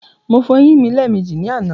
Mo fọ eyín mi lẹ́ẹ̀mejì ní àná.